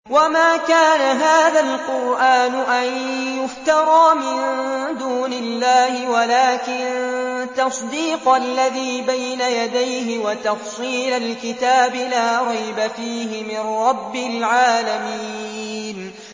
وَمَا كَانَ هَٰذَا الْقُرْآنُ أَن يُفْتَرَىٰ مِن دُونِ اللَّهِ وَلَٰكِن تَصْدِيقَ الَّذِي بَيْنَ يَدَيْهِ وَتَفْصِيلَ الْكِتَابِ لَا رَيْبَ فِيهِ مِن رَّبِّ الْعَالَمِينَ